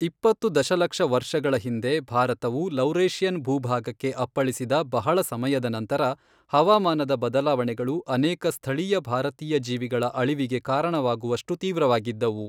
ಇಪ್ಪತ್ತು ದಶಲಕ್ಷ ವರ್ಷಗಳ ಹಿಂದೆ, ಭಾರತವು ಲೌರೇಷಿಯನ್ ಭೂಭಾಗಕ್ಕೆ ಅಪ್ಪಳಿಸಿದ ಬಹಳ ಸಮಯದ ನಂತರ, ಹವಾಮಾನದ ಬದಲಾವಣೆಗಳು ಅನೇಕ ಸ್ಥಳೀಯ ಭಾರತೀಯ ಜೀವಿಗಳ ಅಳಿವಿಗೆ ಕಾರಣವಾಗುವಷ್ಟು ತೀವ್ರವಾಗಿದ್ದವು.